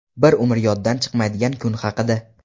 Bir umr yoddan chiqmaydigan kun haqida.